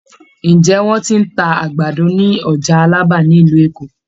Ǹjẹ́ wọ́n ti ń ta àgbàdo ni ọjà Alábà ni ìlú Èkó.?